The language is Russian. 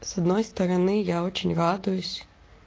с одной стороны я очень радуюсь